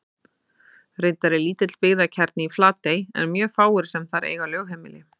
Reyndar er lítill byggðakjarni í Flatey en mjög fáir sem þar eiga lögheimili.